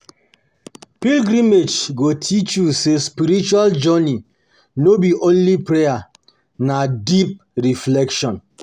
Pilgrimage go teach you say spiritual journey no be only prayer, na deep reflection.